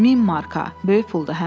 Min marka, böyük puldu hə?